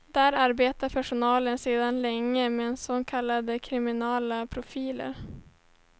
Där arbetar personalen sedan länge med så kallade kriminella profiler.